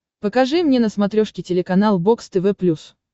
покажи мне на смотрешке телеканал бокс тв плюс